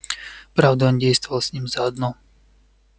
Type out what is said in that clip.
правда он действовал с ними заодно